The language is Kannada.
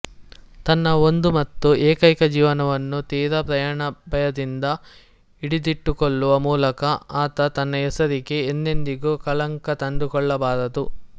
ತನ್ನ ಒಂದು ಮತ್ತು ಏಕೈಕ ಜೀವನವನ್ನು ತೀರಾ ಪ್ರಾಣಭಯದಿಂದ ಹಿಡಿದಿಟ್ಟುಕೊಳ್ಳುವ ಮೂಲಕ ಆತ ತನ್ನ ಹೆಸರಿಗೆ ಎಂದೆಂದಿಗೂ ಕಳಂಕ ತಂದುಕೊಳ್ಳಬಾರದು